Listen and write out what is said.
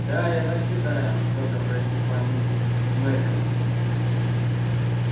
да я так считаю твёрдо произнесла миссис мерриуэзер